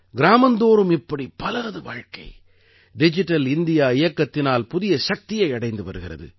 கிராமந்தோறும் இப்படி பலரது வாழ்க்கை டிஜிட்டல் இந்தியா இயக்கத்தினால் புதிய சக்தியை அடைந்து வருகிறது